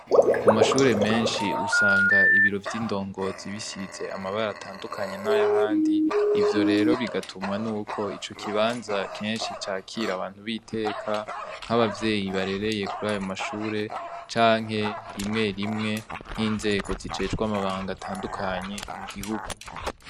Ku mashure meshi usanga ibiro vy'indongozi bisize amabara atandukanye naya handi ivyo rero bigatumwa nuko ico kibanza keshi cakira abantu biteka nka bavyeyi barereye kuriyo shure canke rimwe rimwe nk'inzego zijejwe amabanga atandukanye mu gihugu.